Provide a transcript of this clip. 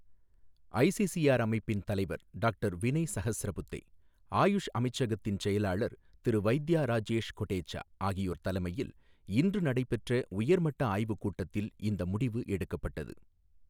ICCR அமைப்பின் தலைவர் doctor Vinay Sahasrabuddhe, AYUSH அமைச்சகத்தின் செயலாளர் திரு வைத்யா ராஜேஷ் கொடேச்சா ஆகியோர் தலைமையில் இன்று நடைபெற்ற உயர்மட்ட ஆய்வுக் கூட்டத்தில் இந்த முடிவு எடுக்கப்பட்டது.